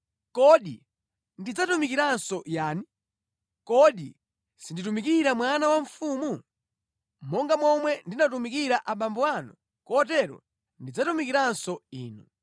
Kodi ndidzatumikiranso yani? Kodi sinditumikira mwana wa mfumu? Monga momwe ndinatumikira abambo anu, kotero ndidzatumikiranso inu.”